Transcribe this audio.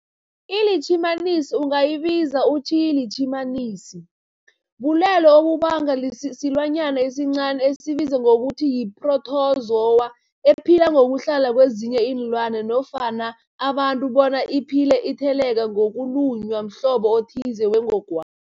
iLitjhimanisi ungayibiza uthiyilitjhimanisi, bulwelwe obubangwa silwanyana esincani esibizwa ngokuthiyi-phrotozowa ephila ngokuhlala kezinye iinlwana, abantu bona iphile itheleleka ngokulunywa mhlobo othize wengogwa